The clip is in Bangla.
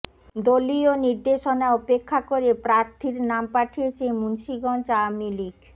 দলীয় নির্দেশনা উপেক্ষা করে প্রার্থীর নাম পাঠিয়েছে মুন্সিগঞ্জ আওয়ামী লীগ